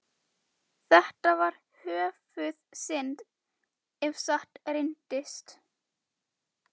Gjaldþrotaskipti teljast byrja við uppkvaðningu gjaldþrotaúrskurðar.